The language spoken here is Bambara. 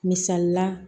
Misalila